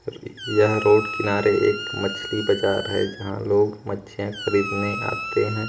यह रोड किनारे एक मछली बाजार है जहाँ लोग मछिया खरीदने आते हैं।